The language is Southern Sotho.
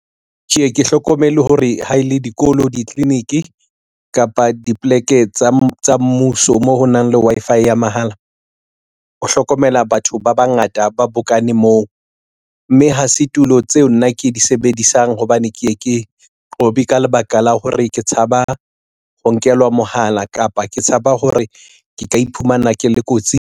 Ke ye ke hlokomele hore ha e le dikolo ditleliniki kapa dipoleke tsa mmuso moo ho nang le Wi-Fi ya mahala o hlokomela batho ba bangata ba bokane moo ho mme ha se tulo tseo nna ke di sebedisang hobane ke ye ke qobe ka lebaka la hore ke tshaba ho nkelwa mohala kapa ke tshaba hore ke ka iphumana ke le kotsing.